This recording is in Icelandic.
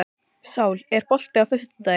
Sál, er bolti á föstudaginn?